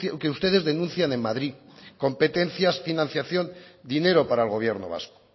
que ustedes denuncian en madrid competencias financiación dinero para el gobierno vasco